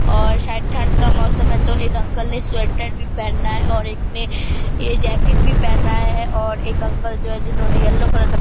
और शायद ठंड का मौसम है तो एक अंकल ने स्वेटर भी पहना है और एक ने ये जैकेट भी पहना है और एक अंकल जो है जिन्होंने येलो कलर का --